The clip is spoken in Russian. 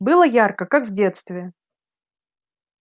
было ярко как в детстве